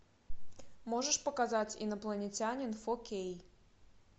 можешь показать инопланетянин фо кей